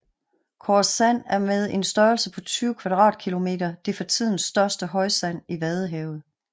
Koresand er med en størrelse på 20 kvadratkilometer det for tiden største højsand i vadehavet